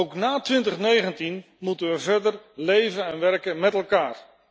Ook na 2019 moet we verder leven en werken met elkaar.